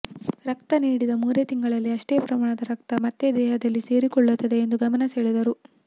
ರಕ್ತ ನೀಡಿದ ಮೂರೇ ತಿಂಗಳಿಗೆ ಅಷ್ಟೇ ಪ್ರಮಾಣದ ರಕ್ತ ಮತ್ತೆ ದೇಹದಲ್ಲಿ ಸೇರಿಕೊಳ್ಳುತ್ತದೆ ಎಂದು ಗಮನಸೆಳೆದರು